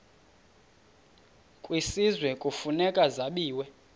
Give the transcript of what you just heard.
kwisizwe kufuneka zabiwe